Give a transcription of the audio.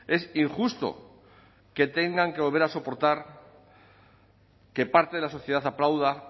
es injusto que tengan que volver a soportar que parte de la sociedad aplauda